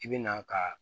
I bi na ka